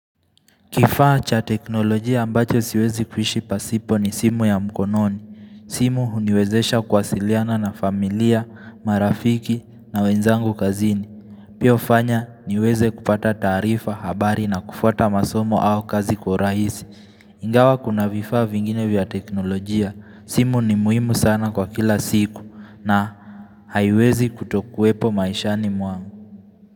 Kifaa cha teknolojia ambacho siwezi kuishi pasipo ni simu ya mkononi simu huniwezesha kuwasiliana na familia, marafiki na wenzangu kazini Pia hufanya niweze kupata taarifa, habari na kufwata masomo au kazi kwa urahisi Ingawa kuna vifaa vingine vya teknolojia, simu ni muhimu sana kwa kila siku, na haiwezi kutokuepo maishani mwangu.